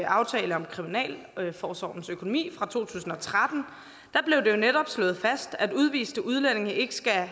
aftale om kriminalforsorgens økonomi fra to tusind og tretten blev det jo netop slået fast at udviste udlændinge ikke skal